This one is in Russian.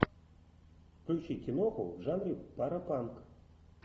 включи киноху в жанре паропанк